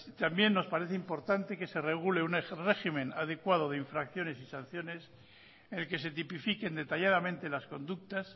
también nos parece importante que se regule un régimen adecuado de infracciones y sanciones en el que se tipifiquen detalladamente las conductas